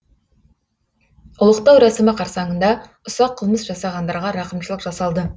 ұлықтау рәсімі қарсаңында ұсақ қылмыс жасағандарға рақымшылық жасалды